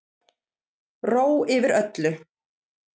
Ró yfir öllu.